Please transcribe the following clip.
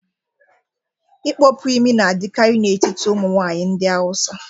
Ịkpọpu imi n'adịkarị n'etiti ụmụnwaanyị ndị hausa